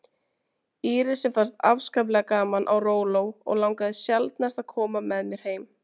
Írisi fannst afskaplega gaman á róló og langaði sjaldnast að koma með mér heim.